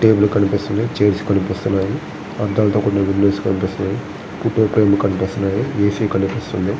Table కనిపిస్తుంది chairs కనిపిస్తున్నాయి. అంతా ఒక మిడిల్ ప్లేస్ కనిపిస్తుంది. ఫోటో ఫ్రేమ్ కనిపిస్తున్నాయి. ఏసి కనిపిస్తుంది.